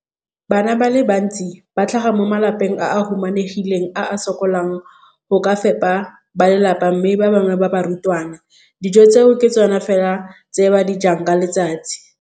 Bana ba le bantsi ba tlhaga mo malapeng a a humanegileng a a sokolang go ka fepa ba lelapa mme ba bangwe ba barutwana, dijo tseo ke tsona fela tse ba di jang ka letsatsi.